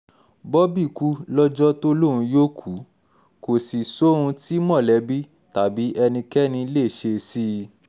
bobby kú lọ́jọ́ tó lóun yóò kú kó sì sóhun tí mọ̀lẹ́bí tàbí ẹnikẹ́ni lè ṣe sí i